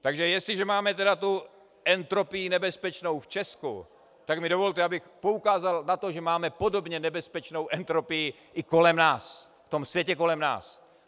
Takže jestliže máme tedy tu entropii nebezpečnou v Česku, tak mi dovolte, abych poukázal na to, že máme podobně nebezpečnou entropii i kolem nás, v tom světě kolem nás.